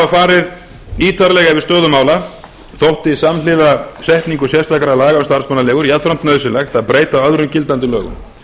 farið ítarlega yfir stöðu mála þótti samhliða setningu sérstakra laga um starfsmannaleigur jafnframt nauðsynlegt að breyta öðrum gildandi lögum